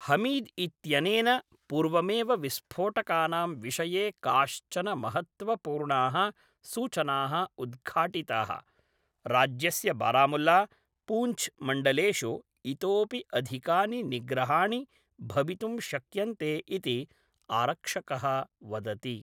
हमीद् इत्यनेन पूर्वमेव विस्फोटकानां विषये काश्चन महत्त्वपूर्णाः सूचनाः उद्घाटिताः, राज्यस्य बारामुल्ला, पूञ्छ् मण्डलेषु इतोऽपि अधिकानि निग्रहाणि भवितुं शक्यन्ते इति आरक्षकः वदति।